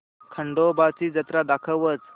खंडोबा ची जत्रा दाखवच